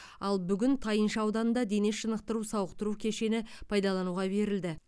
ал бүгін тайынша ауданында дене шынықтыру сауықтыру кешені пайдалануға берілді